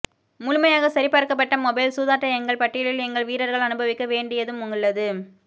முழுமையாக சரிபார்க்கப்பட்ட மொபைல் சூதாட்ட எங்கள் பட்டியலில் எங்கள் வீரர்கள் அனுபவிக்க வேண்டியதும் உள்ளது